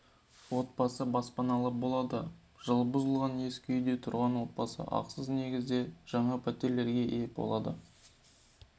отбасы баспаналы болады жылы бұзылған ескі үйде тұрған отбасы ақысыз негізде жаңа пәтерлерге ие болады